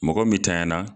Mɔgɔ min tanyala